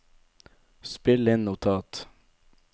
spill inn notat